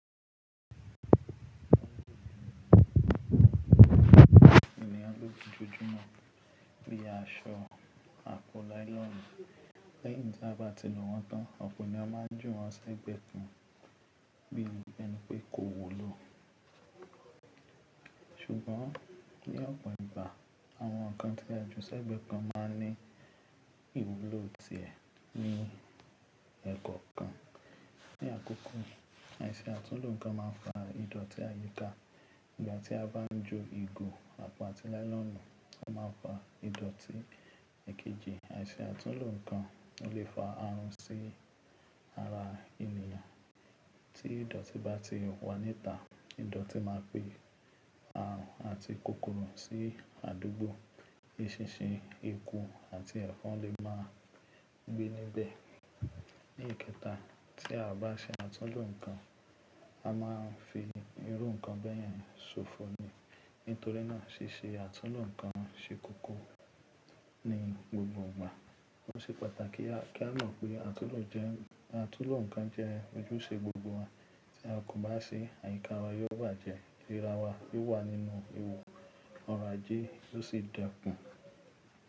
Ènìyàn ló fi jójúmọ̀ pín aṣọ, a po nylonu. Lẹ́yìn tí a bá ti nu wọ́n tán, ọ̀pọ̀ eni a má ń júwọ́n sẹ́gbẹ̀ kan bí i ẹ́ni pẹ́ kò wu ló. Ṣùgbọ́n, ní ọ̀pọ̀ ìgbà, àwọn ǹkan tí a jù sẹ́gbẹ̀ kan má ń ní ìwúlò tiẹ̀ ní ẹ̀kọ̀ kan. Ní àkókun, àìṣe àtúnlọ̀ ǹkan má ń fa ìdọ̀tí àyíká. Ìgbà tí a bá ń jú ìgò, àpọ̀ àti nylonu, o máa ń fa ìdọ̀tí. Ìkejì, àìṣe àtúnlọ̀ ǹkan o le fa àrùn sí ara ènìyàn. Tí ìdọ̀tí bá ti wà níta, ìdọ̀tí má pẹ̀ àrùn àti kòkòrọ̀ sí àdúgbọ̀. Eṣinṣin, ekú àti ẹ̀fọ̀n le máa gbẹ́ níbẹ̀. Ní ekẹta, tí a bá ṣe àtúnlọ̀ ǹkan, a má ń fi irú ǹkan bẹ́yẹn ṣọ̀fọ̀ni. Nítorí náà, ṣíṣe àtúnlọ̀ ǹkan ṣe kókọ́ ní gbogbo ìgbà. Ó ṣe pàtàkì kí á mọ̀ pé àtúnhọ̀ ǹkan jẹ́ ojúṣe gbogbo wa. Tí a kò bá ṣe, àyíká wa yóò bàjẹ́, ìríra wa yóò wà nínú ìwọ̀, ọ̀rọ̀ ajẹ́ yóò sì dẹ́kun.